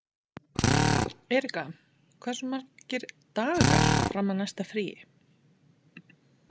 Erika, hversu margir dagar fram að næsta fríi?